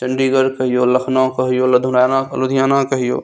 चंडीगढ़ कहियो लखनऊ कहियो लधुवाना लुधियाना कहियो --